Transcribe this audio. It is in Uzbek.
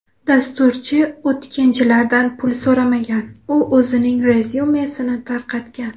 Dasturchi o‘tkinchilardan pul so‘ramagan u o‘zining rezyumesini tarqatgan.